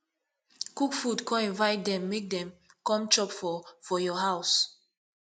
cook food con invite dem mek dem com chop for for yur house